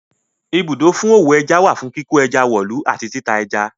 Ibùdó fún òwò ẹja wà fún kíkó ẹja wọ̀lú àti tita ẹja.